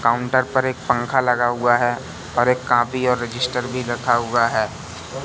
Counter पर एक पंख लगा हुआ है और एक कापी और रजिस्टर भी रखा हुआ है।